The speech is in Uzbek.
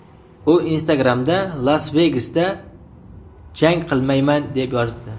U Instagram’da Las-Vegasda jang qilmayman deb yozibdi.